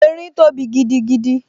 Erin tóbi gidigidi